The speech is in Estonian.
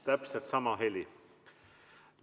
Täpselt sama heli.